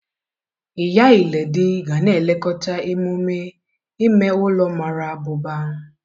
Iya Iledi ga na-elekọta emume ime ụlọ mara abụba.